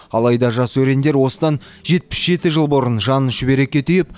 алайда жас өрендер осыдан жетпіс жеті жыл бұрын жанын шүберекке түйіп